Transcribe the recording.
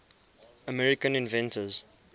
american inventors